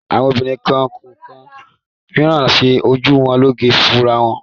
Àwọn obìnrin kọ̀ọ̀kan máa ń ṣe ojú wọn lóge fúnra wọn.